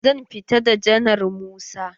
Zan fita da janar Musa.